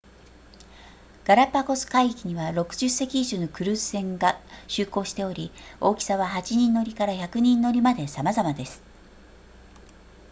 ガラパゴス海域には60隻以上のクルーズ船が就航しており大きさは8人乗りから100人乗りまでさまざまです